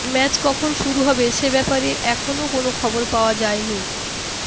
match কখন শুরু হবে সে ব্যাপারে এখনও কোনও খবর পাওয়া যায়নি